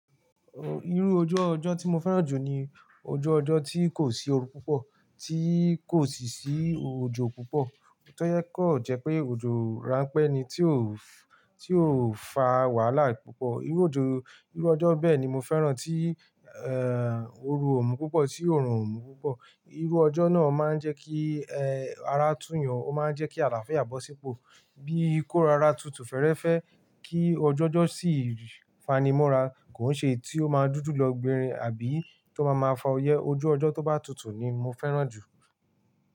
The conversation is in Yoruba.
Irú ojú ọjọ́ tí mo fẹ́ràn jù ni ojú ọjọ́ tí kò sí ooru púpọ̀, tí kò sì sí òjò púpọ̀. Tó kàn jẹ́ pé òjò ráńpẹ́ ni tí ò, tí ò fa wàhálà púpọ̀. Irú òjò, irú ọjọ́ bẹ́ẹ̀ ni mo fẹ́ràn tí, ooru ò mú púpọ̀ tí òòrùn ò mú púpọ̀. Irú ọjọ́ náà máa ń jẹ́ kí, ara tú'yàn Ó máa ń jẹ́ kí àláfíà bọ̀ sípò. Bíi kó rara tutù fẹ́ẹ́rẹ́fẹ́, kí ojúọjọ́ sì fanimọ́ra, kò ń èyí tí ó máa dúdú lọ gbinrin, àbí tó bá máa fa ọyẹ́ Ojú ọjọ́ tó bá tutù ni mo fẹ́ràn jù.